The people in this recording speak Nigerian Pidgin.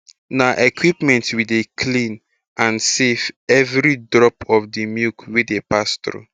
na equipment wey dey clean and safe every drop of d milk dey pass thru